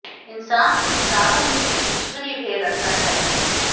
इंसान को विचारों में भी ईश्वरीय भय रखना चाहिए